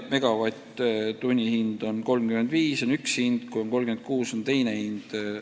Kui megavatt-tunni hind on 35 eurot, on üks määr, kui on 36 eurot, on teine määr.